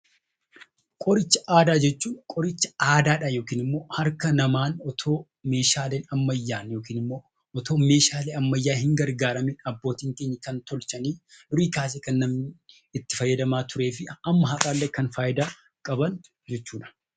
Qoricha aadaa jechuun qoricha aadaadhaan yookiin immoo harka namaan otoo meeshaalee ammayyaan yookiin immoo otoo meeshaalee ammayyaa hin gargaaramiin abbootiin keenya kan tolchanii, durii kaasee kan namni itti fayyadamaa turee fi hamma har'aallee kan faayidaa qaban jechuudha.